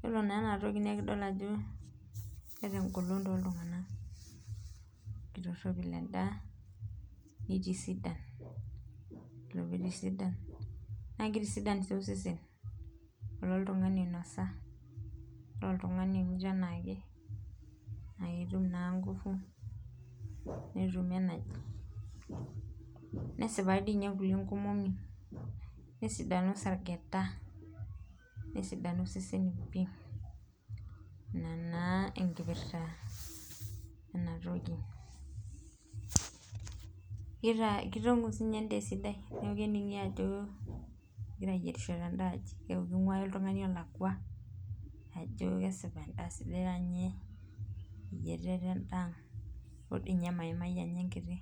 Yiolo naaa enatoki naa ekidol ajo keeta engolon tooltunganak, keitoropil endaa neitisidan ,yiolo pee eitisidan naa kitisidan sii osesen .ore oltungani onyita enaake naa ketum naan ngufu netum energy nesipayu doi ninye ikulie nkomomi ,nesidanu irsargeta nesidanu seseni pi .ina naa ekipirta ena toki ,keitongu siininye endaa esidai neeku keningi ajo engirae ayierishio tenda aji ,keeku keinguaya oltungani elekwa ajo kesipa endaa taa ninye eyieritae tendaang ntoo dii ninye maimai anya enkiti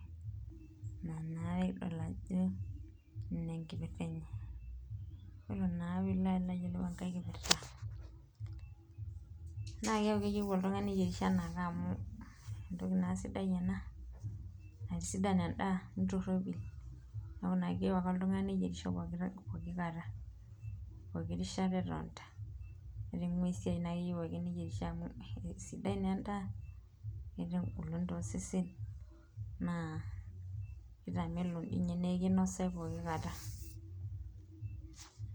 ina naa pee kidol ajo ina ekipirta enye .naa ore naa pee ilo ayiolou enkae kipirta naa keeku keyieu eke oltungani nelo ayierisho amu entoki naa siai ena naitisidan endaa nitoropil ,neeku naa keyieu ake oltungani neyierisho pooki kata ,pooko rishata naa ake etonita amu eisiade naa edaa amu keeta engolon toseseni naa kitamelok doi ninye neeku kinosayu pooki kata .